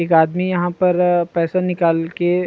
एक आदमी यहाँ पर पैसा निकाल के--